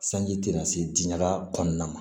Sanji tɛna se di ɲaga kɔɔna ma